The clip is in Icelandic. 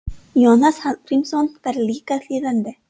Jónas Hallgrímsson var líka þýðandi.